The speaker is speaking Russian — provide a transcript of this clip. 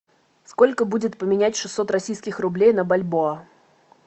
сколько будет поменять шестьсот российских рублей на бальбоа